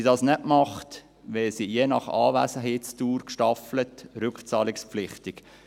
Tut sie dies nicht, wird sie je nach Anwesenheitsdauer gestaffelt rückzahlungspflichtig.